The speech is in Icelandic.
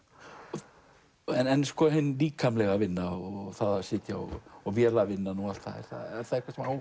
en hin líkamlega vinna og vélavinnan og allt það er það eitthvað sem á